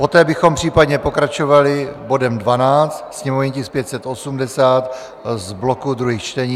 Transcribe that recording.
Poté bychom případně pokračovali bodem 12 - sněmovní tisk 580 z bloku druhých čtení.